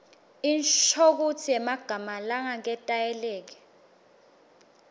inshokutsi yemagama langaketayeleki